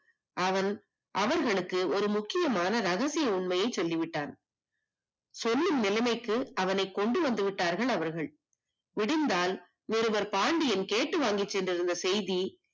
அவன் அவர்களுக்கு ஒரு முக்கியமான ரகசிய உண்மையை சொல்லிவிட்டான் சொல்லும் நிலைமைக்கு கொண்டு வந்து விட்டார்கள் அவர்கள் விடிந்தால் ஒருவன் பாண்டியன் கேட்டு வாங்கிக் கொண்டிருந்த செய்தி